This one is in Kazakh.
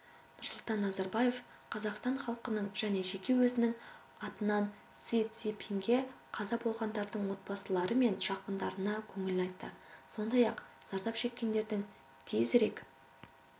нұрсұлтан назарбаев қазақстан халқының және жеке өзінің атынан си цзиньпинге қаза болғандардың отбасылары мен жақындарына көңіл айтты сондай-ақ зардап шеккендердің тезірек